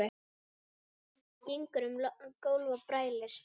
Gengur um gólf og brælir.